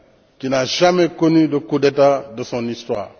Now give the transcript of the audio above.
qui n'a jamais connu de coup d'état de son histoire.